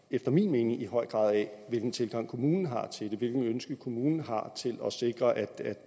efter min mening i høj grad af hvilken tilgang kommunen har til det hvilket ønske kommunen har til at sikre at